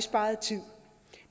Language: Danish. sparet tid